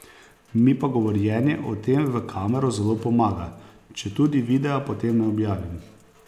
Mi pa govorjenje o tem v kamero zelo pomaga, četudi videa potem ne objavim.